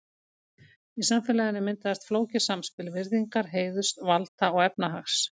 Í samfélaginu myndaðist flókið samspil virðingar, heiðurs, valda og efnahags.